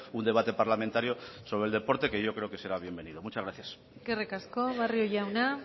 un debate parlamentario sobre el deporte que yo creo que será bienvenido muchas gracias eskerrik asko barrio jauna